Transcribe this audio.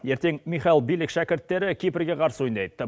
ертең михал билек шәкірттері кипрге қарсы ойнайды